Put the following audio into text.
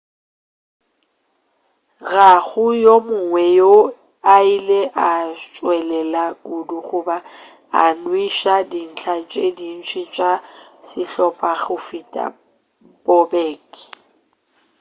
ga go yo mongwe yoo a ilego a tšwelela kudu goba a nweša dintlha tše dintši tša sehlopha go feta bobek